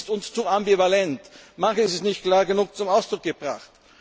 Manches ist uns zu ambivalent, manches ist nicht klar genug zum Ausdruck gebracht.